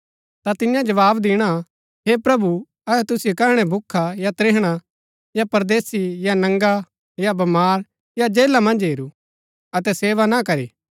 ता तियां जवाव दिणा हे प्रभु अहै तुसिओ कैहणै भूखा या त्रिहणा या परदेसी या नंगा या बमार या जेला मन्ज हेरू अतै सेवा ना करी